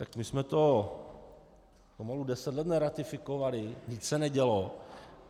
Tak my jsme to pomalu deset let neratifikovali, nic se nedělo.